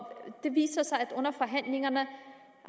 det viser sig at under forhandlingerne